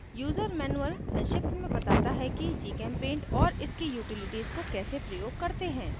user mannual संक्षिप्त में बताता है कि gchempaint और इसकी utilities को कैसे प्रयोग करते हैं